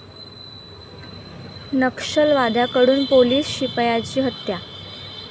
नक्षलवाद्यांकडून police शिपायाची हत्या